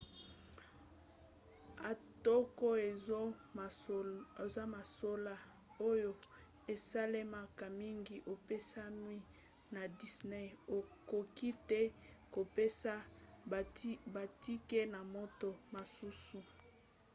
atako eza mosala oyo esalemaka mingi epekisami na disney: okoki te kopesa batike na moto mosusu